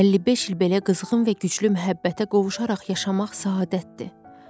55 il belə qızğın və güclü məhəbbətə qovuşaraq yaşamaq səadətdir.